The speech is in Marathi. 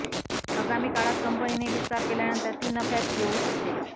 आगामी काळात कंपनीने विस्तार केल्यानंतर ती नफ्यात येऊ शकते